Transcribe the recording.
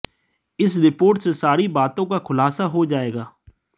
इस रिपोर्ट से सारी बातों का खुलासा हो जाएगा